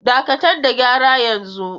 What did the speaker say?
Dakatar da gyara yanzu!